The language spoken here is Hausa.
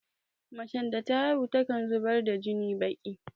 Macen da ta haihu takan zubar da jinin biƙi